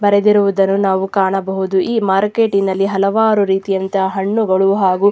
ಬರೆದಿರುವುದನ್ನು ನಾವು ಕಾಣಬಹುದು ಈ ಮಾರ್ಕೆಟ್ ನಲ್ಲಿ ಹಲವಾರು ರೀತಿಯಂತ ಹಣ್ಣು ಗಳು ಹಾಗೂ --